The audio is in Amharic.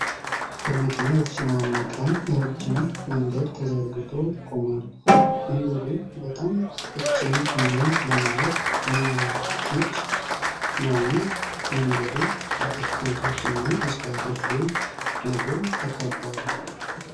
በመኪና የተጨናነቀ ረጅም መንገድ ተዘጋግቶ ቆሟል። መንገዱም በጣም ቀጭን እና ለማለፍ የማያመች ነው። ይህ መንገድም በአትክልቶች እና እጽዋቶች ጎን ለጎን ተከቧል።